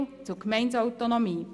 So viel zur Gemeindeautonomie.